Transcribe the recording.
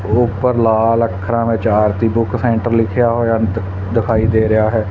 ਉਪਰ ਲਾਲ ਅੱਖਰਾਂ ਵਿੱਚ ਆਰਤੀ ਬੁੱਕ ਸੈਂਟਰ ਲਿਖਿਆ ਹੋਇਆ ਦਿਖਾਈ ਦੇ ਰਿਹਾ ਹੈ।